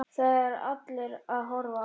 Það eru allir að horfa á hana.